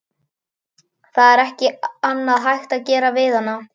Það er ekkert annað hægt að gera fyrir hana.